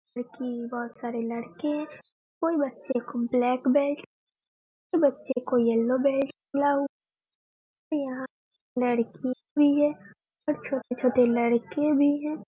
जो कि बहुत सारे लड़के हैं कोई बच्चे को ब्लैक बेल्ट कोई बच्चे को येल्लो बेल्ट मिला है यहाँ लड़की भी है और छोटे-छोटे लड़के भी हैं।